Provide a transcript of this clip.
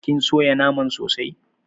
kin soya naman sosai?